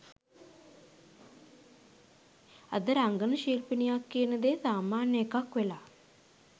අද රංගන ශිල්පිනියක් කියන දේ සාමාන්‍ය එකක් වෙලා